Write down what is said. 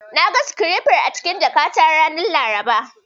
Na ga sikirefar a cikin jakata ranar Laraba.